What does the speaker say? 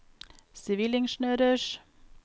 sivilingeniørers